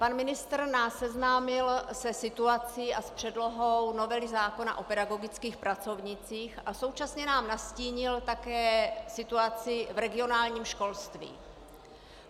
Pan ministr nás seznámil se situací a s předlohou novely zákona o pedagogických pracovnících a současně nám nastínil také situaci v regionálním školství.